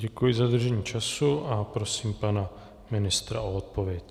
Děkuji za dodržení času a prosím pana ministra o odpověď.